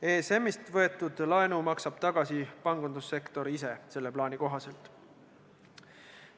ESM-ist võetud laenu maksab selle plaani kohaselt tagasi pangandussektor ise.